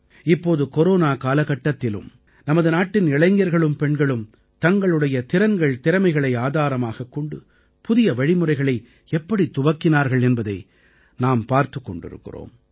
இப்போது கொரோனா காலகட்டத்திலும் நமது நாட்டின் இளைஞர்களும் பெண்களும் தங்களுடைய திறன்கள்திறமைகளை ஆதாரமாகக் கொண்டு புதிய வழிமுறைகளை எப்படித் துவக்கினார்கள் என்பதை நாம் பார்த்துக் கொண்டிருக்கிறோம்